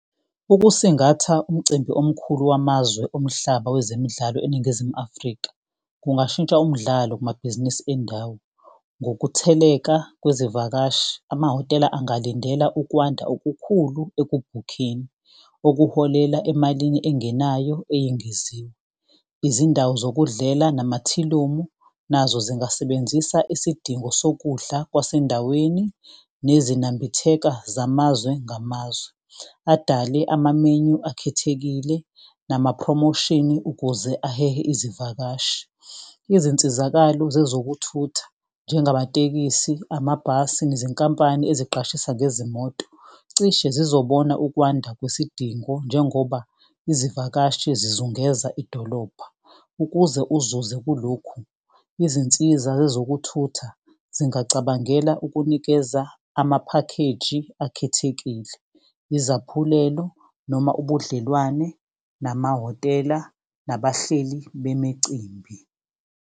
Ukusingatha umcimbi omkhulu wamazwe omhlaba wezemidlalo eNingizimu Afrika, kungashintsha umdlalo kumabhizinisi endawo. Ngokutheleka kwezivakashi amahhotela ungalindela ukwanda okukhulu ekubhukheni, okuholela emalini engenayo eyengeziwe. Izindawo zokudlela namathilomu, nazo zingasebenzisa isidingo sokudla kwasendaweni. Nezinambitheka zamazwe ngamazwe, adale ama-menu akhethekile nama-prommotion-i ukuze ahehe izivakashi. Izinsizakalo zezokuthutha njengamatekisi, amabhasi, nezinkampani eziqashisa ngezimoto. Cishe zizobona ukwanda kwesidingo njengoba izivakashi zizungeza idolobha. Ukuze uzuze kulokhu, izinsiza zezokuthutha zingacabangela ukunikeza amaphakheji akhethekile, izaphulelo. Noma ubudlelwane namahhotela nabahleli bemicimbi.